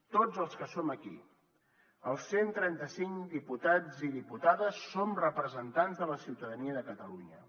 tots els que som aquí els cent i trenta cinc diputats i diputades som representants de la ciutadania de catalunya